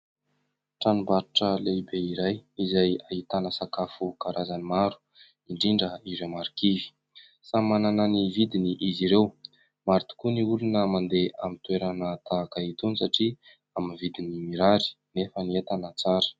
Tranombarotra lehibe iray izay ahitana sakafo karazany maro indrindra ireo marikivy, samy manana ny vidiny izy ireo. Maro tokoa ny olona mandeha amin'ny toerana tahaka itony satria amin'ny vidiny mirary nefa ny entana tsara.